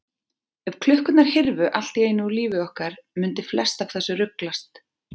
Ef klukkurnar hyrfu allt í einu úr lífi okkar mundi flest af þessu ruglast.